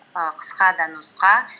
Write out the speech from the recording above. і қысқа да нұсқа